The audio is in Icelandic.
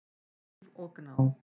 Líf og Gná.